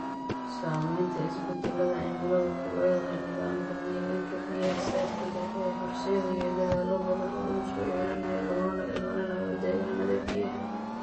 Saamaynta isbeddelka cimiladu ku leedahay nidaamka deegaanka biyaha saafiga ah ayaa horseedaya dadaallo badan oo lagu soo celinayo laguna ilaalinayo degaannada biyaha.